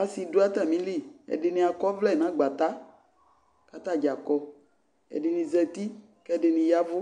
asɩ dʋ atamili, ɛdɩnɩ akɔ ɔvlɛ nʋ agbata kʋ atadza kɔ Ɛdɩnɩ zati kʋ ɛdɩnɩ ya ɛvʋ